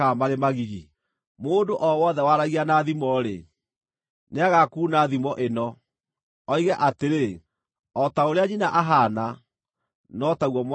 “ ‘Mũndũ o wothe waragia na thimo-rĩ, nĩagakuuna thimo ĩno, oige atĩrĩ: “O ta ũrĩa nyina ahaana, no taguo mwarĩ ahaana.”